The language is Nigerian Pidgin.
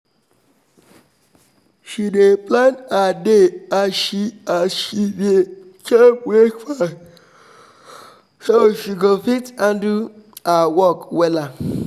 she dey plan her day as she as she dey chop breakfast so she go fit handle her work wella.